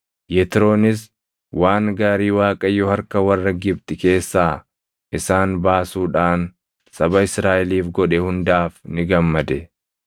Yetroonis waan gaarii Waaqayyo harka warra Gibxi keessaa isaan baasuudhaan saba Israaʼeliif godhe hundaaf ni gammade.